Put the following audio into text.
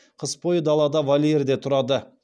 қыс бойы далада вольерде тұрады